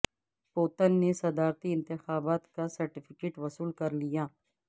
Putin نے صدارتی انتخابات کا سرٹیفیکیٹ وصول کر لیا